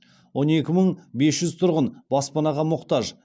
он екі мың бес жүз тұрғын баспанаға мұқтаж